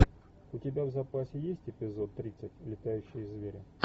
у тебя в запасе есть эпизод тридцать летающие звери